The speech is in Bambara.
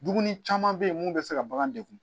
Dumuni caman bɛ yen mun bɛ se ka bagan degun